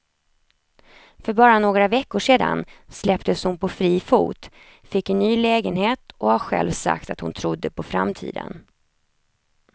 För bara några veckor sedan släpptes hon på fri fot, fick en ny lägenhet och har själv sagt att hon trodde på framtiden.